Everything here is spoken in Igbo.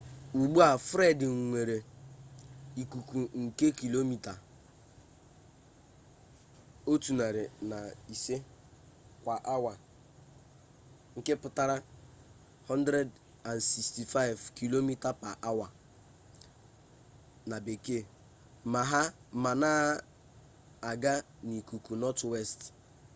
ugbu a fred nwere ikuku nke kilomita 105 kwa awa 165 km/h ma na-aga n'akụkụ nọtwest